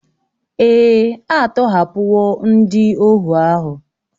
Èè, a tọhapụwo ndị ohu ahụ